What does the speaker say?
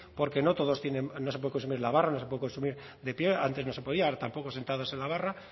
porque no todos tienen no se puede consumir en la barra no se puede consumir de pie antes no se podía ahora tampoco sentados en la barra